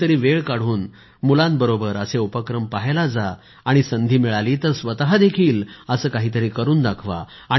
कधीतरी वेळ काढून मुलांबरोबर असे उपक्रम पहायला जा आणि संधी मिळाली तर स्वतःदेखील असं काहीतरी करून दाखवा